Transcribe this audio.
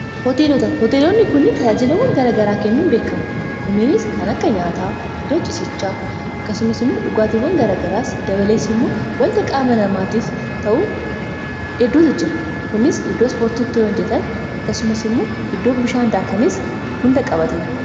hoteelonni kunniin tajaajilawwan garagaraa kennuun beekamu kunninis kan akka nyaataa iddoo cisichaa akkasumas immoo dhugaatiwwan garagaraas dabaleessi immoo wanta qaamanamaatiif ta'u edduutu jira kunis iddoo spoortitti njetan akkasumas immoo iddoo bishaandaakaniis hunda qabateera